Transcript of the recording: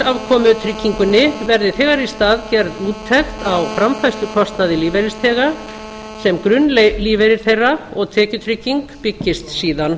afkomutryggingunni verði þegar í stað gerð úttekt á framfærslukostnaði lífeyrisþega sem grunnlífeyrir þeirra og tekjutrygging byggist síðan